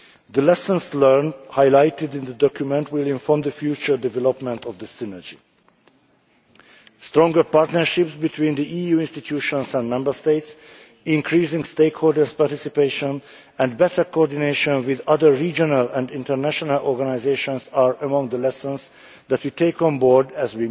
The lessons learned highlighted in the document will inform the future development of the Synergy. Stronger partnerships between the EU institutions and Member States, increasing stakeholders' participation, and better coordination with other regional and international organisations are among the lessons that we take on board